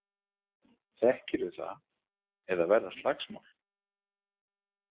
Þekkirðu það, eða verða slagsmál?